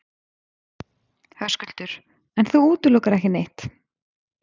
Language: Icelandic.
Höskuldur: En þú útilokar ekki neitt?